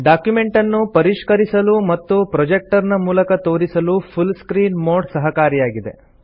ಡಾಕ್ಯುಮೆಂಟನ್ನು ಪರಿಷ್ಕರಿಸಲು ಮತ್ತು ಪ್ರೊಜೆಕ್ಟರ್ ನ ಮೂಲಕ ತೋರಿಸಲು ಫುಲ್ ಸ್ಕ್ರೀನ್ ಮೋಡ್ ಸಹಕಾರಿಯಾಗಿದೆ